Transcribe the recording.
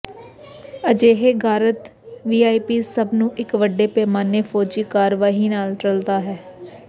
ਅਜਿਹੇ ਗਾਰਦ ਵੀਆਈਪੀਜ਼ ਸਭ ਨੂੰ ਇੱਕ ਵੱਡੇ ਪੈਮਾਨੇ ਫੌਜੀ ਕਾਰਵਾਈ ਨਾਲ ਰਲਦਾ ਹੈ